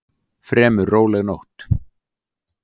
Fremur róleg nótt